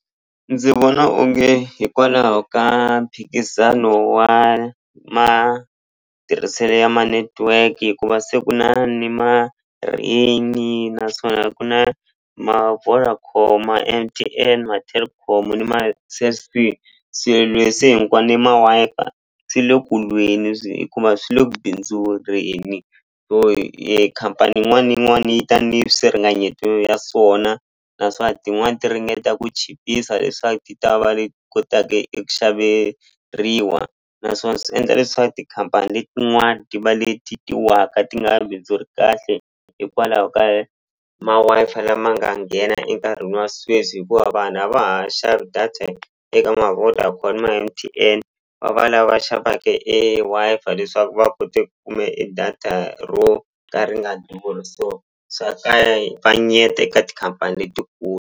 Ndzi vona onge hikwalaho ka mphikizano wa matirhiselo ya ma-network hikuva se ku na ni naswona ku na ma-Vodacom ma M_T_N ma-Telkom ni ma-Cell C se ni ma-Wi-Fi swi le kulweni hikuva swi le bindzureni so khampani yin'wani ni yin'wani yi ta ni swiringanyeto ya swona naswona tin'wani ti ringeta ku chipisa leswaku ti ta va leti kotaka eku xaveriwa naswona swi endla leswaku tikhampani letin'wani ti va leti ti waka ti nga bindzuri kahle hikwalaho ka ma Wi-Fi lama nga nghena enkarhini wa sweswi hikuva vanhu a va ha xavi data eka ni ma M_T_N va va lava xavaka e Wi-Fi leswaku va kote ku kume e data ro ka ri nga durhi so swa kavanyeketa eka tikhampani letikulu.